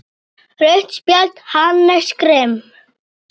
Rautt spjald: Hannes Grimm.